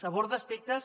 aborda aspectes